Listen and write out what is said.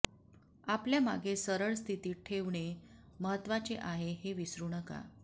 आपल्या मागे सरळ स्थितीत ठेवणे महत्त्वाचे आहे हे विसरू नका